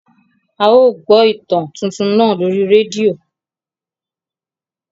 À yóò gbọ ìtan tuntun náà lori redio.